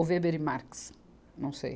Ou Weber e Marx, não sei.